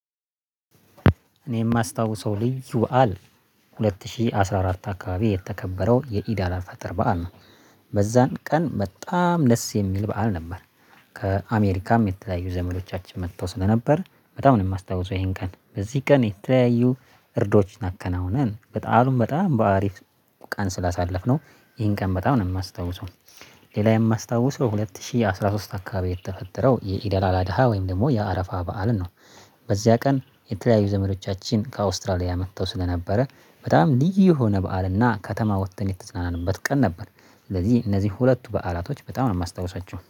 እኔ የማስታውሰው ልዩ በዓል ሁለት ሺህ አስራ አራት አካባቢ የተከበረው የኢዳላ ፈጠር በዓል ነው። በዛን ቀን በጣም ለስ የሚል በዓል ነበር። ከአሜሪካም የተለያዩ ዘመዶቻችን መጥተው ስለነበር በጣም ነው የማስታውሰው ይሄን ቀን በዚህ ቀን የተለያዩ እርዶችን አከናውነን በጣም በጣም በአሪፍ ቃን ስላሳለፍነው ይሄን ቀን በጣም ነው የማስታውሰው። ሌላ የማስታውሰው ሁለት ሺህ አስራ ሶስት አካባቢ የተፈጠረው የኢደላላ ደሃ ወይም ደግሞ የአረፋ በዓልን ነው። በዚያ ቀን የተለያዩ ዘመዶቻችን ከአውስትራሊያ መጥተው ስለነበረ በጣም ልዩ የሆነ በዓልና ከተማ ወጥተን የተጽናናንበት ቀን ነበር። ስለዚህ እነዚህ ሁለቱ በዓላቶች በጣም ነው የማስታውሳቸው